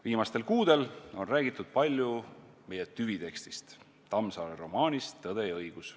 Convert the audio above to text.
Viimastel kuudel on räägitud palju meie tüvitekstist, Tammsaare romaanist "Tõde ja õigus".